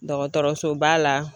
Dɔgɔtɔrɔsoba la